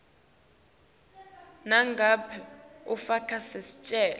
nangabe ufaka sicelo